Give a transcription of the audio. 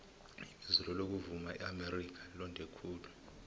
ibizelo lokuvuma eamerika londe khulu